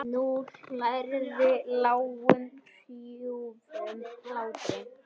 Nú hlærðu, lágum hrjúfum hlátri.